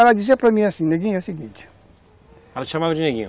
Ela dizia para mim assim, neguinho é o seguinte... Ela te chamava de neguinho?